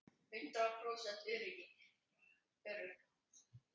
Hundrað prósent örugg!